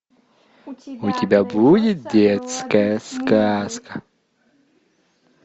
у тебя будет детская сказка